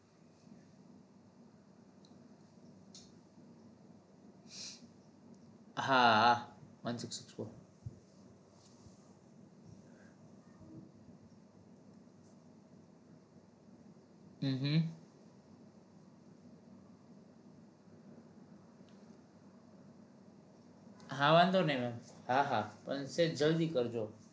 હા વાંધો નહી ma'am હા હા સહેજ જલ્દી કરજો